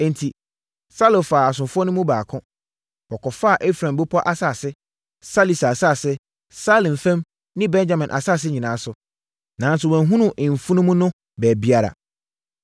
Enti, Saulo faa asomfoɔ no mu baako. Wɔkɔfaa Efraim bepɔ asase, Salisa asase, Saalim fam ne Benyamin asase nyinaa so, nanso wɔanhunu mfunumu no baabiara.